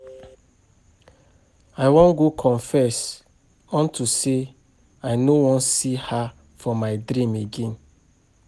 I wan go confess unto say I no wan see her for my dream again